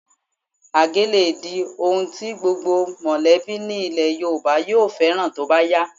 Àgé lè di ohun tí gbogbo mọ̀lẹ́bí nílẹ̀ Yorùbá yóò fẹ́ràn tó bá yá